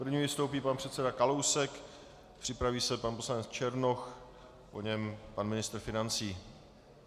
První vystoupí pan předseda Kalousek, připraví se pan poslanec Černoch, po něm pan ministr financí.